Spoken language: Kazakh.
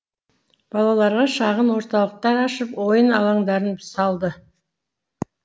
балаларға шағын орталықтар ашып ойын алаңдарын салды